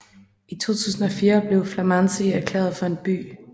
I 2004 blev Flămânzi erklæret for en by